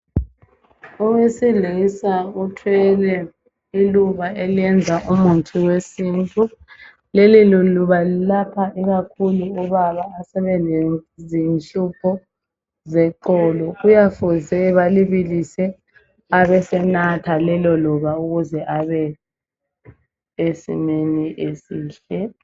Owesilisa uthwele iluba eliyenza umuthi wesintu. Leliluba lilapha ikakhulu obaba abasebele zinhlupho zeqolo. Kuyafuze balibilise abasenatha lelo luba ukuze abe sesimeni esihle